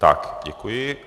Tak děkuji.